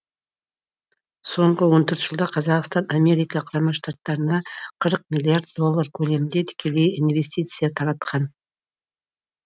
соңғы он төрт жылда қазақстан америка құрама штаттарында қырық миллиард доллар көлемінде тікелей инвестиция таратқан